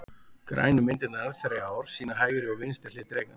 Grænu myndirnar þrjár sýna hægri og vinstri hlið drekans.